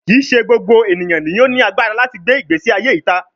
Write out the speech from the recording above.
Kii ṣe gbogbo eniyan ni o lagbara lati gbe igbesi aye ita